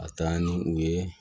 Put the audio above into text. Ka taa ni u ye